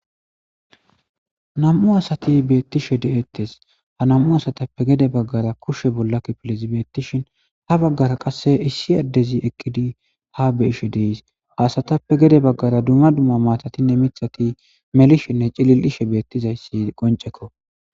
Nam7u asati beettishe deettes ha namu asatappe gede baggara kushe bollakkipilizibeettishin ha baggara qasse issi addezi ekkidi ha be ishe deys haasatappe gede baggara dumma dumma maatatinne mithati melishinne cilil7ishe beettizayssi qoncekko.